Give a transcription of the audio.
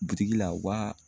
Butigi la u b'a